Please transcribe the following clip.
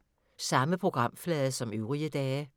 Samme programflade som øvrige dage